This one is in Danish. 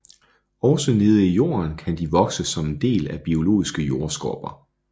Også nede i jorden kan de vokse som en del af biologiske jordskorper